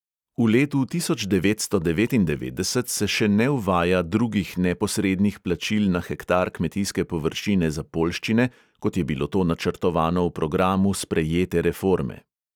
V letu devetnajsto devetindevetdeset se še ne uvaja drugih neposrednih plačil na hektar kmetijske površine za poljščine, kot je to bilo načrtovano v programu sprejete reforme.